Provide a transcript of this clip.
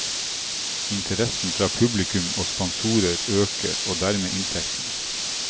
Interessen fra publikum og sponsorer øker, og dermed inntektene.